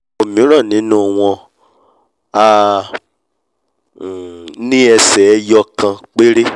òmíràn nínú wọn á um ní ẹsè eyọ ìkan péré